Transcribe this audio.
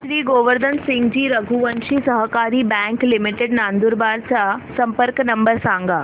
श्री गोवर्धन सिंगजी रघुवंशी सहकारी bank limited Nandurbar चा संपर्क नंबर सांगा